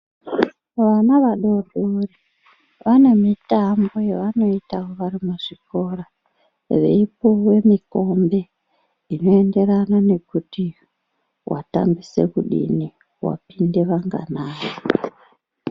Vana vadori dori vane mitambo yavanoita vari muzvikora veipuwe mikombe inoenderana nekuti watambise kudini, wapinde vanganai.